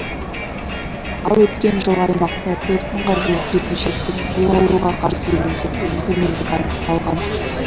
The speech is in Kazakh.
ал өткен жылы аймақта төрт мыңға жуық жеткіншектің бұл ауруға қарсы иммунитетінің төмендігі анықталған